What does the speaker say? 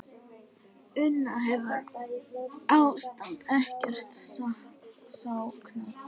Una, hefur ástandið ekkert skánað?